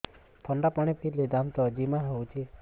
ଥଣ୍ଡା ପାଣି ପିଇଲେ ଦାନ୍ତ ଜିମା ହଉଚି